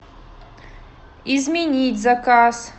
изменить заказ